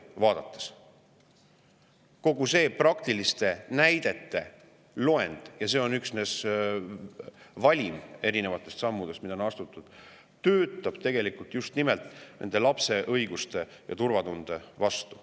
Kogu see praktiliste näidete loend – ja see on üksnes valik erinevatest sammudest, mida on astutud – töötab tegelikult lapse õigustele ja turvatundele just vastu.